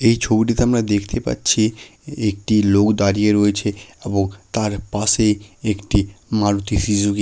এই ছবিটিতে আমরা দেখতে পাচ্ছি একটি লোক দাঁড়িয়ে রয়েছে এবং তার পাশে একটি মারুতি সিজুকি ।